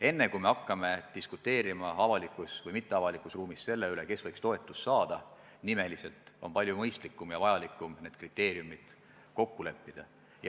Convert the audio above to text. Enne kui me hakkame diskuteerima avalikus või mitteavalikus ruumis selle üle, kes nimeliselt võiks toetust saada, on mõistlik ja väga vajalik need kriteeriumid kokku leppida.